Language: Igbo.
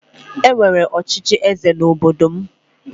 E nwere ọchịchị eze n'obodo m